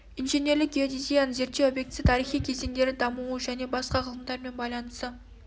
инженерлік геодезияның зерттеу объектісі тарихи кезеңдері дамуы және басқа ғылымдар мен байланысы